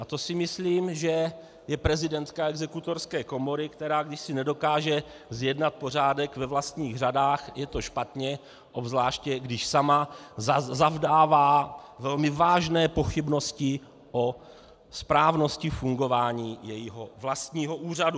A to si myslím, že je prezidentka Exekutorské komory, která když si nedokáže zjednat pořádek ve vlastních řadách, je to špatně, obzvláště když sama zavdává velmi vážné pochybnosti o správnosti fungování svého vlastního úřadu.